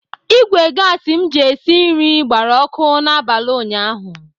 Ìgwè gasi m ji esi nri gbara ọkụ n'abalị ụnyaahụ.